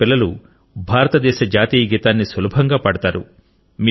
ఆయన పిల్లలు భారతదేశ జాతీయ గీతాన్ని సులభంగా పాడతారు